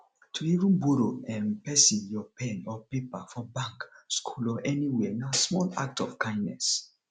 to even borrow um persin your pen or paper for bank school or anywhere na small act of kindness